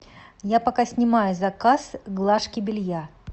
я пока снимаю заказ глажки белья